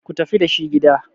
ku tafi da shi gida!